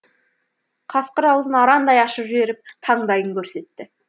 қасқыр аузын арандай ашып жіберіп таңдайын көрсетті